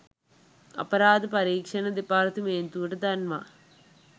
අපරාධ පරීක්ෂණ දෙපාර්තමේන්තුවට දන්වා